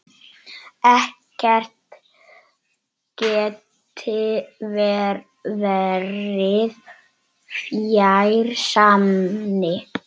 Ekkert gæti verið fjær sanni.